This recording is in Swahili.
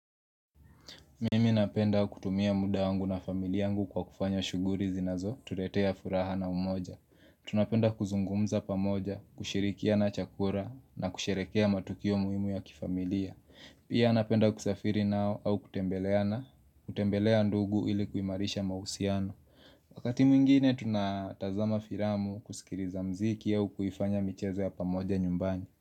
Mimi napenda kutumia muda wangu na familia yangu kwa kufanya shughuri zinazotuletea furaha na umoja Tunapenda kuzungumza pamoja, kushirikiana chakura na kusherekea matukio muhimu ya kifamilia Pia napenda kusafiri nao au kutembeleana, kutembelea ndugu ili kuimarisha mahusiano Wakati mwingine tunatazama firamu kusikiriza mziki au kuifanya mchezo ya pamoja nyumbani.